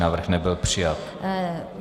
Návrh nebyl přijat.